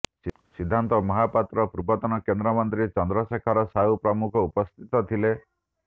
ସିଦ୍ଧାନ୍ତ ମହାପାତ୍ର ପୁର୍ବତନ କେନ୍ଦ୍ରମନ୍ତ୍ରୀ ଚନ୍ଦ୍ରଶେଖର ସାହୁ ପ୍ରମୁଖ ଉପସ୍ଥିତ ଥିଲେ